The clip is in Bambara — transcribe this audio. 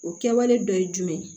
O kɛwale dɔ ye jumɛn ye